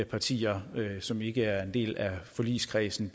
partier som ikke er en del af forligskredsen